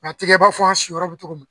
Nk'a ti kɛ i n'a fɔ an siyɔrɔ bɛ kɛ cogo min.